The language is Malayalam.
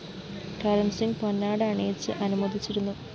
കരണ്‍സിംഗ് പൊന്നാട അണിയിച്ച് അനുമോദിച്ചിരുന്നു